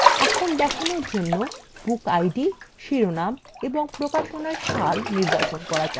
এখন দেখানোর জন্য bookid শিরোনাম এবং প্রকাশনার সাল নির্বাচন করা যাক